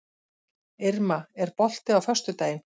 Irma, er bolti á föstudaginn?